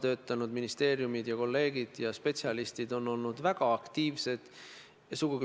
Teie erakonna liige, minu meelest härra Kalev Lillo oli üks peamine, kes toona seisis selle eest, et sinimustvalge siia saali saaks toodud.